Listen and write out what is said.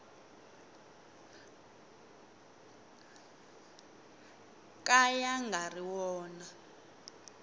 ka ya nga ri wona